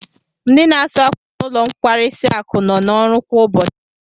Ndi n'asu ákwà n'ulo nkwarisi akụ no na oru kwa ubochi